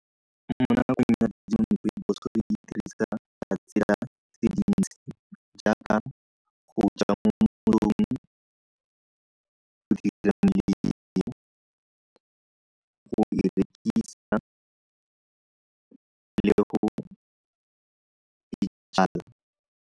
Mo nakong ya segompieno go di rekisa le go di jala.